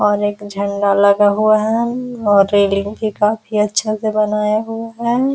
और एक झंडा लगा हुआ है और रेलिंग भी काफ़ी अच्छा से बनाया हुआ है।